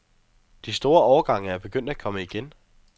De store årgange er begyndt at komme igen.